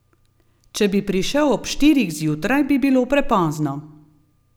Če bi prišel ob štirih zjutraj, bi bilo prepozno.